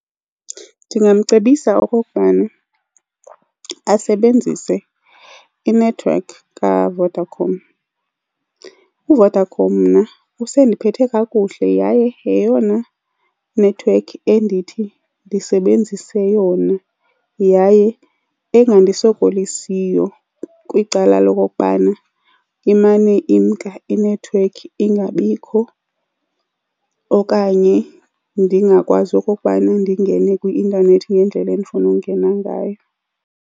Ndingamcebisa okokubana asebenzise inethiwekhi kaVodacom. UVodacom mna usandiphethe kakuhle yaye yeyona nethiwekhi endithi ndisebenzise yona yaye engandisokolisiyo kwicala lokokubana imane imnka inethiwekhi ingabikho okanye ndingakwazi okokubana ndingene kwi-intanethi ngendlela endifuna ungena ngayo.